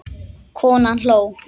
Konan hló.